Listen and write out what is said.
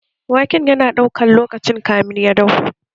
Waken yana ɗaukan lokaci kamın ya dahu?